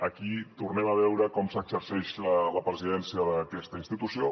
aquí tornem a veure com s’exerceix la presidència d’aquesta institució